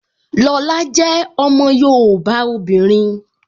Lọla jẹ́ ọmọ yoòbá obìnrin